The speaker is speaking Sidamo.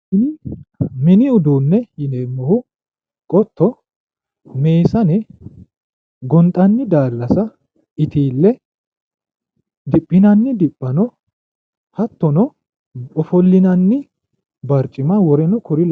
Mini uduunne yineemmo qotto meesane gonxanni daallasa itiille diphinanni diphano hattono ofollinanni barcimma woleno kuri lawinore.